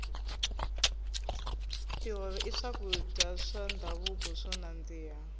tihove i swakudya swa ndhavuko swo nandzika